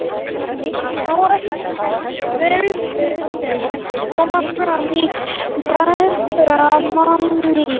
Áhrif veðursins koma fram í betra mannlífi.